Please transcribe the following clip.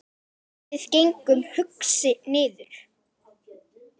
Við gengum hugsi niður